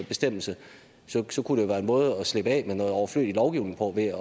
bestemmelse kunne det være en måde at slippe af med noget overflødig lovgivning på ved